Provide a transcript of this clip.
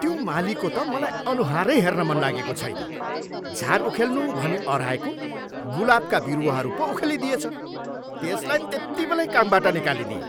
त्यो मालीको त मलाई अनुहारै हेर्न मन लागेको छैन। झ्यार उखेल्नु भनी अह्राएको, गुलाबका बिरुवाहरू पो उखेलिदिएछ। त्यसलाई त्यत्तिबेलै कामबाट निकालिदिएँ।